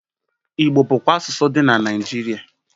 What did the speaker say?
Igbo bụkwa asụsụ dị na Naịjirịa.